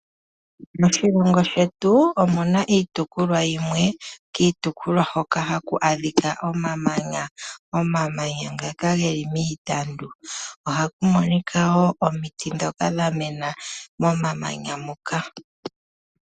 Moshilongo shetu omuna iitopolwa yimwe, kitopolwa hoka haku adhika omamanya, omamanya ngaka geli miitandu, ohakumonika wo omiti dhoka dhamena momamanya moka.